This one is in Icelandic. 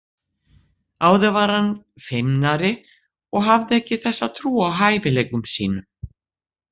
Áður var hann feimnari og hafði ekki þessa trú á hæfileikum sínum.